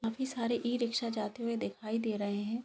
काफी सारे ई-रिक्शा जाते हुए दिखाई दे रहे हैं।